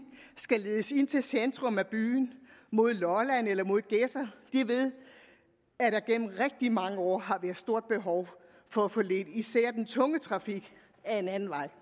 skal ledes ind til centrum af byen mod lolland eller mod gedser ved at der gennem rigtig mange år har været et stort behov for at få ledt især den tunge trafik ad en anden vej